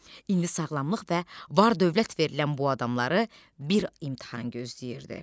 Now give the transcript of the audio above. İndi sağlamlıq və var dövlət verilən bu adamları bir imtahan gözləyirdi.